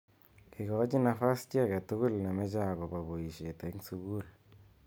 Ikochi nafas chi age tugul nemeche akobo boishet eng sukul.